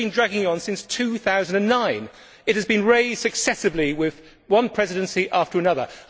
This has been dragging on since 2009. It has been raised successively with one Presidency after another.